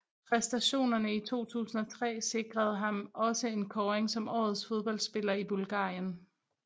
Præstationerne i 2003 sikrede ham også en kåring som Årets fodboldspiller i Bulgarien